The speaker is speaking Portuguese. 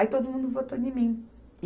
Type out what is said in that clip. Aí todo mundo votou em mim.